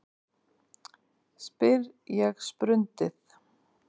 spyr ég sprundið.